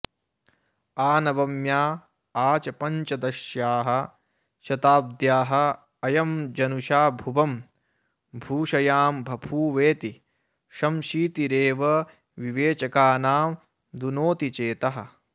आ नवम्या आ च पञ्चदश्याः शताब्द्द्याः अयं जनुषा भुवं भूषयांबभूवेति संशीतिरेव विवेचकानां दुनोति चेतः